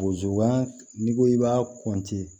Gozan n'i ko k'i b'a